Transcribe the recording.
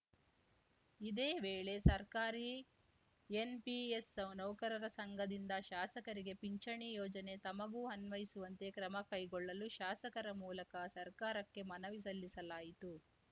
ಇದೇ ವೇಳೆ ಸರ್ಕಾರಿ ಎನ್‌ಪಿಎಸ್‌ ನೌಕರರ ಸಂಘದಿಂದ ಶಾಸಕರಿಗೆ ಪಿಂಚಣಿ ಯೋಜನೆ ತಮಗೂ ಅನ್ವಯಿಸುವಂತೆ ಕ್ರಮಕೈಗೊಳ್ಳಲು ಶಾಸಕರ ಮೂಲಕ ಸರ್ಕಾರಕ್ಕೆ ಮನವಿ ಸಲ್ಲಿಸಲಾಯಿತು